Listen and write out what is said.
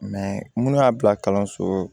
minnu y'a bila kalanso